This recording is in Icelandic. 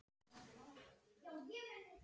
Höldum áfram skipaði hann.